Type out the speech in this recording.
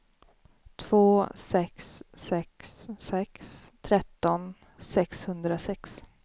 två sex sex sex tretton sexhundrasex